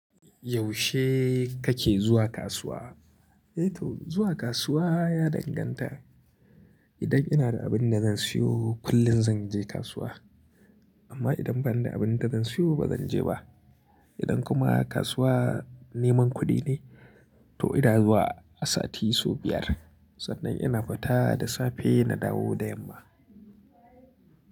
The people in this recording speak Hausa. Yaushe kake zuwa kasuwa? Eh to, zuwa kasuwa ya danganta. Idan ina da abin da zan siyo kullum zan je kasuwa. Amma idan ban da abin da zan siyo ba zan je ba. Idan kuma kasuwa neman kuɗi ne to ina zuwa a sati sau biyar sannan ina fita da safe na dawo da yamma.